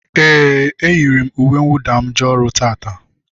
Éè, e yiri m uwe nwụda m jee ọrụ taata